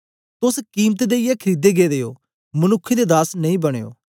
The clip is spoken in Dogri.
तोस कीमत देईयै खरीदे गेदे ओ मनुक्खें दे दास नेई बनयो